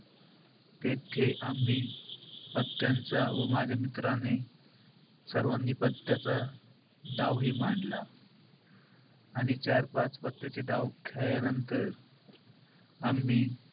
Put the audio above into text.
तेथे आम्ही पत्त्यांचा व माझ्या मित्राने सर्वानी पत्त्याचा डावही मांडला. आणि चार-पाच पत्त्याचे डाव खेळल्यानंतर आम्ही,